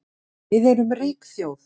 Við erum rík þjóð